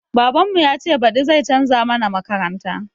Baban mu yace baɗi zai canza mana makaranta